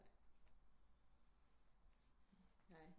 Nej